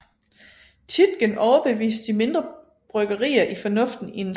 Tietgen overbevist de mindre bryggerier i fornuften i en sammenlægning